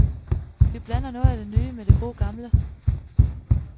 Vi blander noget af det nye, med det gode gamle.